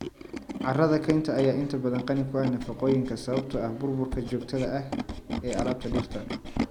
Carrada kaynta ayaa inta badan qani ku ah nafaqooyinka sababtoo ah burburka joogtada ah ee alaabta dhirta.